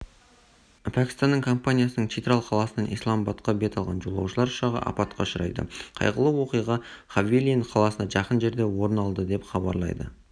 пәкістанның компаниясының читрал қаласынан исламабадқа бет алған жолаушылар ұшағы апатқа ұшырады қайғылы оқиға хавелиан қаласына жақын жерде орын алды деп хабарлайды